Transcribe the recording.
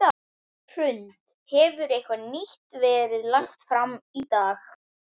Hrund: Hefur eitthvað nýtt verið lagt fram í dag?